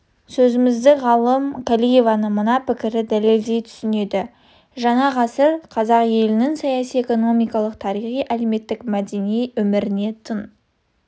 сөзімізді ғалым қалиеваның мына пікірі дәлелдей түседі жаңа ғасыр қазақ елінің саяси-экономикалық тарихи әлеуметтік мәдени өміріне тың